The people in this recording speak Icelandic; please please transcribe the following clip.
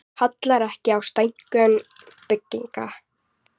Kallar ekki á stækkun bygginga